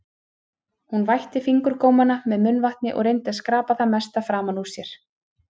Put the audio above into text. Hún vætti fingurgómana með munnvatni og reyndi að skrapa það mesta framan úr sér.